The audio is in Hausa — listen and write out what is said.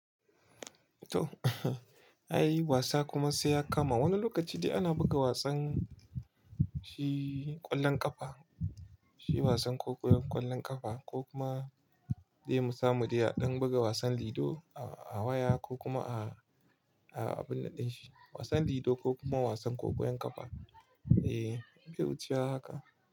To, ai wasa kuma sai ya kama. Wani lokaci dai ana buga wasan shi ƙwallon ƙafa, shi wasan ƙwallon ƙafa ko kuma dai mu samu dai a ɗan buga wasan lido a waya ko kuma a abun nan ɗin shi. Wasan lido ko kuma wasan ƙwallon ƙafa, eh, bai wucewa haka.